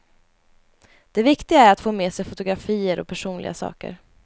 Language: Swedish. Det viktiga är att få med sig fotografier och personliga saker.